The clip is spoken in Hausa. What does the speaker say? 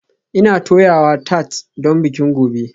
Ina toyawa tart don bikin gobe